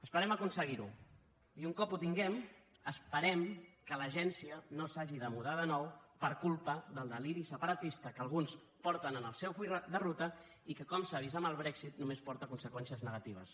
esperem aconseguir ho i un cop ho tinguem esperem que l’agència no s’hagi de mudar de nou per culpa del deliri separatista que alguns porten en el seu full de ruta i que com s’ha vist amb el brexit només porta conseqüències negatives